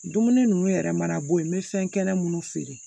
Dumuni ninnu yɛrɛ mana bɔ yen n bɛ fɛn kɛnɛ munnu feere